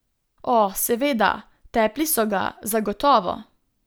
O, seveda, tepli so ga, zagotovo.